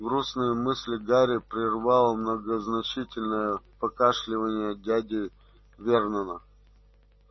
грустные мысли гарри прервало многозначительное покашливание дяди вернона